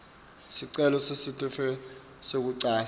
sicelo sesitifiketi sekucala